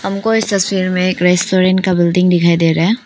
हमको इस तस्वीर में एक रेस्टोरेंट का बिल्डिंग दिखाई दे रहा है।